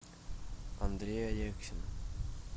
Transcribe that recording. андрей алексин